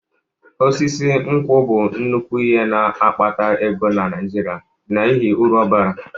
Osisi nkwụ bụ nnukwu ihe na-akpata ego na Naijiria n'ihi uru ọ bara.